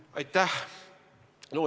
Aitäh!